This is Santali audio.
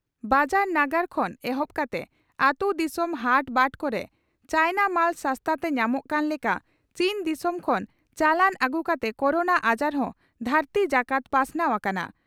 ᱵᱟᱡᱟᱨ ᱱᱟᱜᱟᱨ ᱠᱷᱚᱱ ᱮᱦᱚᱵ ᱠᱟᱛᱮ ᱟᱹᱛᱩ ᱫᱥᱚᱢ ᱦᱟᱴ ᱵᱟᱴ ᱠᱚᱨᱮ ᱪᱟᱭᱱᱟ ᱢᱟᱞ ᱥᱟᱥᱛᱟ ᱛᱮ ᱧᱟᱢᱚᱜ ᱠᱟᱱ ᱞᱮᱠᱟ ᱪᱤᱱ ᱫᱤᱥᱚᱢ ᱠᱷᱚᱱ ᱪᱟᱞᱟᱱ ᱟᱹᱜᱩ ᱟᱠᱟᱱ ᱠᱚᱨᱳᱱᱟ ᱟᱡᱟᱨ ᱦᱚᱸ ᱫᱷᱟᱹᱨᱛᱤ ᱡᱟᱠᱟᱛ ᱯᱟᱥᱱᱟᱣ ᱟᱠᱟᱱᱟ ᱾